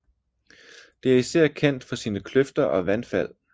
Det er især kendt for sine kløfter og vandfald